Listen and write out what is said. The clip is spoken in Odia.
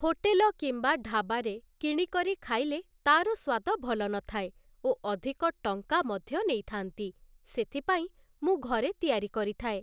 ହୋଟେଲ କିମ୍ବା ଢ଼ାଵାରେ କିଣିକରି ଖାଇଲେ ତାର ସ୍ୱାଦ ଭଲ ନଥାଏ ଓ ଅଧିକ ଟଙ୍କା ମଧ୍ୟ ନେଇଥାନ୍ତି ସେଥିପାଇଁ ମୁଁ ଘରେ ତିଆରି କରିଥାଏ ।